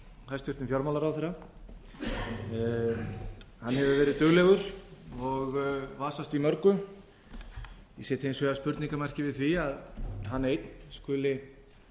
hæstvirtum fjármálaráðherra hann hefur verið duglegur og vasast í mörgu ég set hins vegar spurningarmerki við því að hann einn skuli